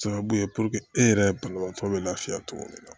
Sababu ye e yɛrɛ banabaatɔ bɛ lafiya cogo min na